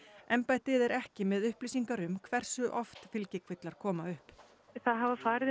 embættið er ekki með upplýsingar um hversu oft fylgikvillar koma upp það hafa farið